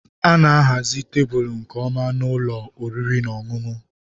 A na-ahazi tebụl nke ọma na ụlọ oriri na ọṅụṅụ.